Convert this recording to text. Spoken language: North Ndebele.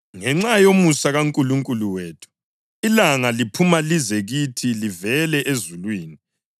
ngenxa yomusa kaNkulunkulu wethu, ilanga liphuma lize kithi livela ezulwini,